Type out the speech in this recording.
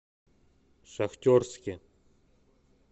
шахтерске